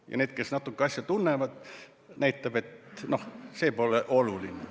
Ja neile, kes natuke asja tunnevad, näitab, et noh, see pole oluline.